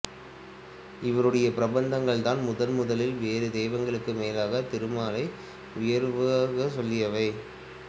இவருடைய பிரபந்தங்கள் தான் முதன்முதலில் வேறு தெய்வங்களுக்கு மேலாகத் திருமாலை உயர்வாகச்சொல்லியவை